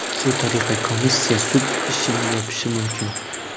Shu tariqa komissiya sud ishini yopishi mumkin.